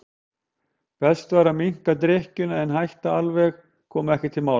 Best væri að minnka drykkjuna en að hætta alveg kom ekki til mála.